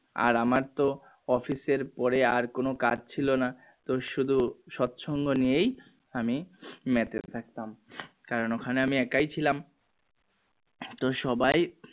আর আমরা তো office এর পরে আর কোনো কাজ ছিল না ব্য শুধু সৎ সঙ্গ নিয়ে এই আমি মেতে থাকতাম কারণ ওখানে আমি একই ছিলাম তো সবাই